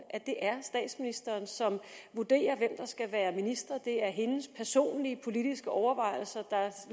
at det er statsministeren som vurderer hvem der skal være ministre det er hendes personlige politiske overvejelser